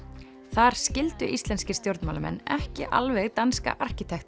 þar skildu íslenskir stjórnmálamenn ekki alveg danska